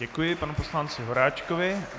Děkuji panu poslanci Horáčkovi.